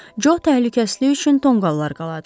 Co təhlükəsizliyi üçün tonqallar qaldı.